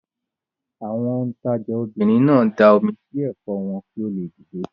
Àwọn òǹtajà obìnrin náà da omi sí ẹ̀fọ́ wọn kí ó le dìde.